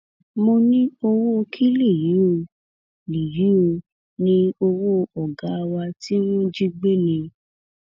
mo ní owó kí lèyí ò lèyí ò ní owó ọgá wa tí wọn jí gbé ni